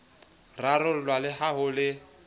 rarollwa le ha ho le